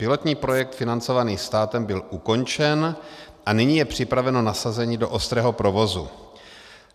Pilotní projekt financovaný státem byl ukončen a nyní je připraveno nasazení do ostrého provozu.